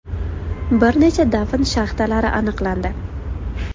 Bir necha dafn shaxtalari aniqlandi.